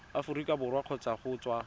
aforika borwa kgotsa go tswa